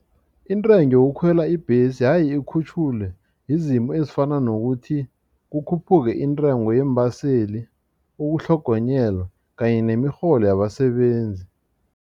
Intengo yokukhwela ibhesi yaye ikhutjhulwe yizimo ezifana nokuthi kukhuphuke intengo yeembaseli ukutlhogonyelwa kanye nemirholo yabasebenzi.